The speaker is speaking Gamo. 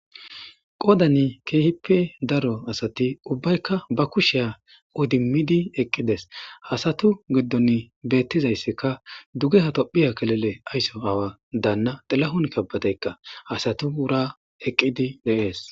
qodani keehippe daro asati ubbaykka ba kushiya udimidi eqqides hasatu giddon beettizayssikka duge hatophiya kelele aysso awa daanna xilahun kabbateykka hasatu wura eqqidi deees